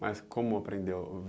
Mas como aprendeu?